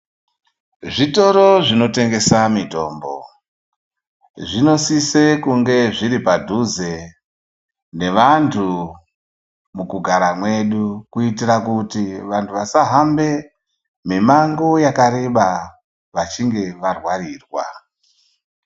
Zvitoro zvinotengesa mitombo, zvinosise kunge zviri padhuze nevantu mukugara mwedu kuitira kuti vantu vasahambe mimango yakareba vachinge varwarirwa.